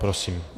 Prosím.